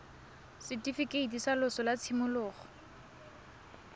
setifikeiti sa loso sa tshimologo